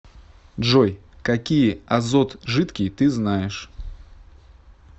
джой какие азот жидкий ты знаешь